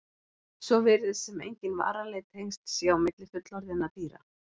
Svo virðist sem engin varanleg tengsl séu á milli fullorðinna dýra.